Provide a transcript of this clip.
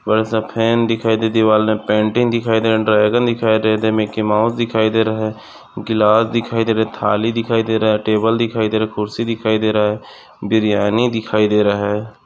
बड़ा सा फॅन दिखाई दे दीवारमे पेंटिंग दिखाई दे ड्रैगन दिखाई दे मिकी माऊस दे रहा हैं ग्लास दिखाई दे रहा थाली दिखाई दे रहा टेबल दिखाई दे रहा कुर्सी दिखाई दे रहा बीर्यानी दिखाई दे रहा हैं।